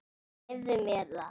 Leyfðu mér það,